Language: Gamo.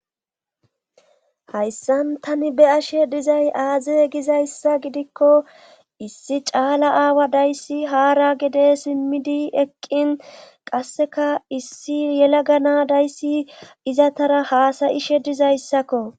Hayssan tani be ashe dizay aaze gizayssa gidikko issi caala aawa dayssi haara gede simmidi eqqin qasseka issi yela gana dayssi izatara haasayishe dizayssakko.